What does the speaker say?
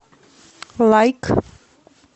лайк